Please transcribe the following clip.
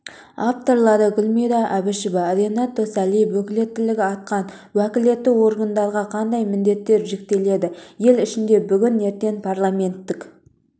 авторлары гүлмира әбішева ренат досалиев өкілеттігі артқан уәкілетті органдарға қандай міндеттер жүктеледі ел ішінде бүгін-ертең парламенттік